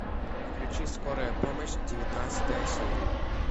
включи скорая помощь девятнадцатая серия